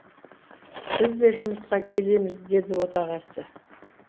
біз де жұмысқа келеміз деді отағасы